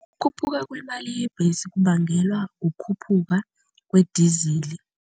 Ukukhuphuka kwemali yebhesi kubangelwa ukukhuphuka kwedizili.